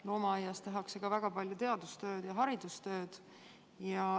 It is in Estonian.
Loomaaias tehakse ka väga palju teadustööd ja haridustööd.